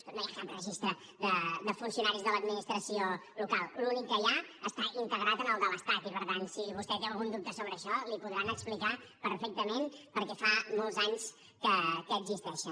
escolti no hi ha cap registre de funcionaris de l’administració local l’únic que hi ha està integrat en el de l’estat i per tant si vostè té algun dubte sobre això li podran explicar perfectament perquè fa molts anys que existeixen